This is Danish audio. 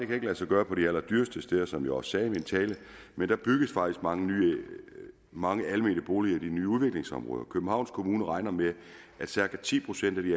kan lade sig gøre på de allerdyreste steder som jeg også sagde i min tale men der bygges faktisk mange mange almene boliger i de nye udviklingsområder københavns kommune regner med at cirka ti procent af de